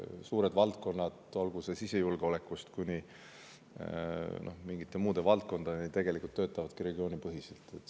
Suured valdkonnad sisejulgeolekust kuni mingite muude valdkondadeni töötavadki regioonipõhiselt.